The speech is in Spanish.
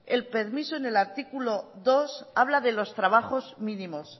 el permiso en el artículo dos habla de los trabajos mínimos